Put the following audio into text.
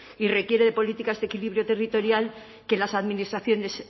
y requiere de políticas de equilibrio territorial que las administraciones